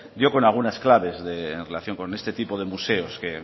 dio con algunas claves en relación con este tipo de museos